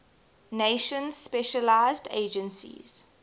nations specialized agencies